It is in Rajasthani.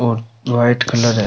और व्हाइट कलर है।